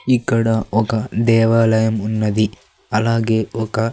ఇక్కడ ఒక దేవాలయం ఉన్నది అలాగే ఒక.